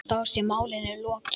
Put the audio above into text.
Og þá sé málinu lokið.